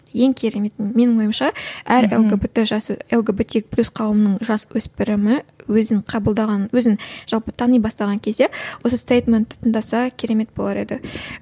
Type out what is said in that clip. ең кереметін менің ойымша әр лгбт лгбтик плюс қауымының жасөспірімі өзін қабылдаған өзін жалпы тани бастаған кезде осы стейтментті тыңдаса керемет болар еді